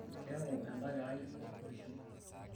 keeku enda kerai olpurishoi